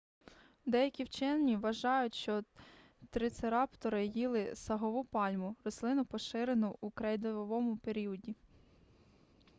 деякі вчені вважають що трицераптори їли сагову пальму рослину поширену у крейдовому періоді